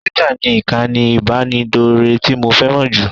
Twitter ni ìkànnì ìbánidọ́rẹ̀ẹ́ tí mo fẹ́ràn jù